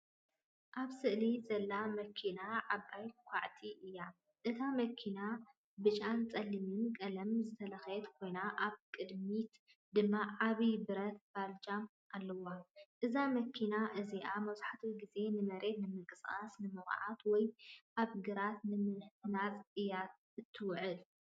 ኣብ ስእሊ ዘላ መኪና ዓባይ ኳዕቲ እያ። እታ መኪና ብጫን ጸሊምን ቀለም ዝተለኽየት ኮይና፡ ኣብ ቅድሚት ድማ ዓቢ ብረት ባልጃ ኣለዋ። እዛ መኪና እዚኣ መብዛሕትኡ ግዜ ንመሬት ንምንቅስቓስ፡ ንምዅዓት ወይ ኣብ ግራት ንምህናጽ እያ እትውዕል።